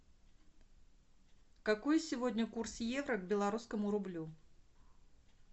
какой сегодня курс евро к белорусскому рублю